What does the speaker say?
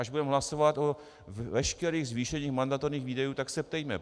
Až budeme hlasovat o veškerých zvýšeních mandatorních výdajů, tak se ptejme.